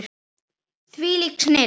Þvílík snilld.